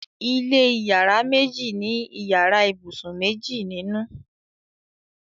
ilé iyàrá méjì ní iyàrá ibusùn méjì ninu